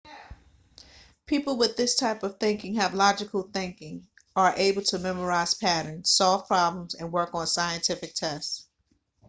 people with this type of thinking have logical thinking are able to memorize patterns solve problems and work on scientific tests